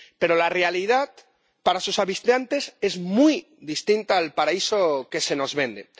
Pero la realidad para sus habitantes es muy distinta al paraíso que se nos vende.